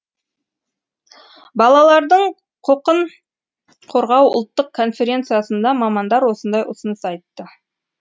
балалардың құқын қорғау ұлттық конференциясында мамандар осындай ұсыныс айтты